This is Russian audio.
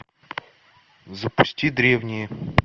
запусти древние